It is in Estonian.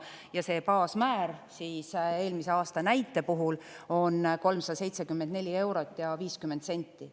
Ja see baasmäär siis eelmise aasta näite puhul on 374 eurot ja 50 senti.